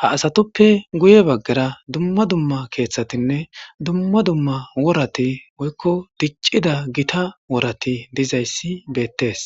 haasatoppe guye baggara dumma dumma keeththatinne dumma dumma worati woykko diccida gita worati dizayssi beettees.